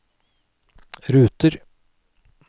ruter